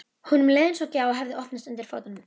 Erfiðast er að nefna einhverja í Stykkishólmi.